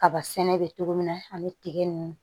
Kaba sɛnɛ bɛ cogo min na ani tige ninnu